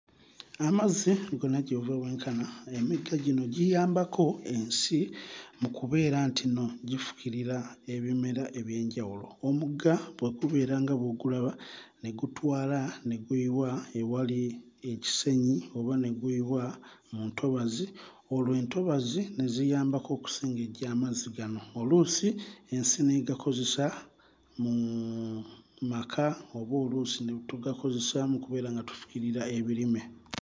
Amazzi gonna gye buva bwenkana emigga gino giyambako ensi mu kubeera nti nno gifukirira ebimera eby'enjawulo. Omugga bwe gubeera nga bw'ogulaba ne gutwala ne guyiwa ewali ekisenyi oba ne guyiwa mu ntobazi olwo entobazi ne ziyambako okusengejja amazzi gano oluusi ensi n'egakozesa muuu maka oba oluusi ne tugakozesa okubeera nga tufukirira ebirime.